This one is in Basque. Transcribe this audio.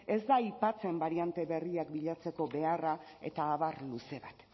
ez da aipatzen bariante berriak bilatzeko beharra eta abar luze bat